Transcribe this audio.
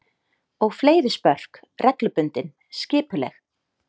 Og fleiri spörk, reglubundin, skipuleg.